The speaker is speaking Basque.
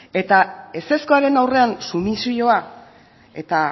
eta ezezkoaren aurrean sumisioa eta